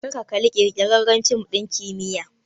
Kar ka kalla ƙirƙirarren fim ɗin kimiyya!